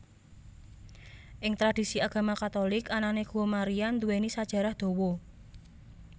Ing tradisi agama Katolik anane guwa Maria nduwèni sajarah dawa